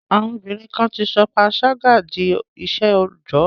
À̀wọn obínrin kan ti sọ panṣágà di iṣẹ́ òòjọ́.